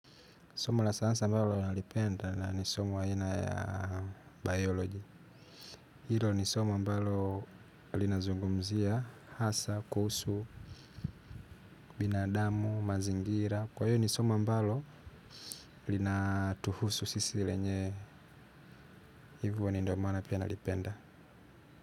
Soma la sayansi ambalo nalipenda na nisoma aina ya biology. Hilo nisomo ambalo linazungumzia, hasa, kuhusu, binadamu, mazingira. Kwa hiyo nisomo ambalo linatuhusu sisi lenyewe hivyo ni ndiyomaana pia nalipenda.